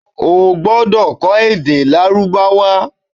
Ó gbọ́dọ̀ kọ́ èdè Lárúbáwá